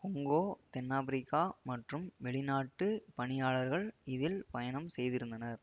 Congo தென்னாப்பிரிக்கா மற்றும் வெளிநாட்டுப் பணியாளர்கள் இதில் பயணம் செய்திருந்தனர்